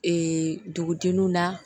Ee dugudenw na